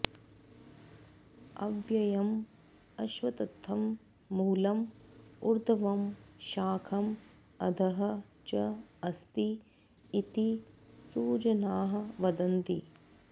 अव्ययं अश्वत्थं मूलं ऊर्ध्वं शाखं अधः च अस्ति इति सुजनाः वदन्ति